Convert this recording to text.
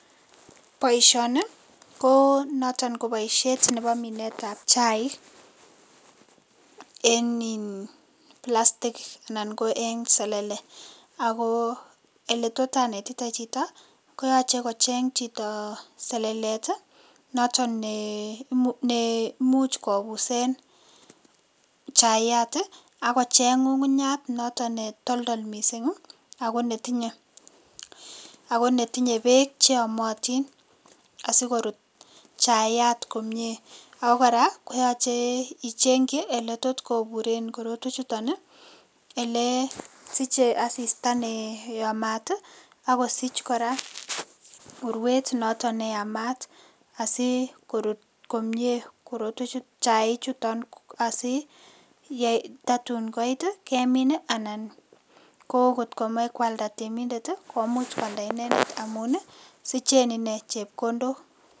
Boishoni ko noton ko baishet Nebo Minet ab chaik en in selele ko yeleto anetete Chito koyache kocheng Chito selelet noton ne imuche kobusen chaiyat akochenbngungunyat netoldol mising ako netinye bek cheyomotin asikorut chayat komie akokoraa koyache ichengi oletotkoburen korotwek chuton ele siche asista neyamat akosich kora urwet noton neyamat si korut komie korotwek chuton ,chik chuto asiyai tatun koit kemin anan kotkomach kwalda temindet komuch kwalda inendet amun sichen inei chepkondok